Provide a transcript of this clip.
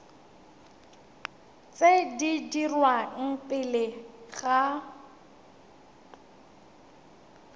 tse di dirwang pele ga